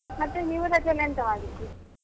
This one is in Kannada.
ಮತ್ತೆ ನೀವು ರಜೆಯಲ್ಲಿ ಎಂತ ಮಾಡಿದ್ರಿ?